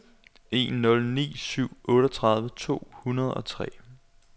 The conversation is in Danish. en nul ni syv otteogtredive to hundrede og tre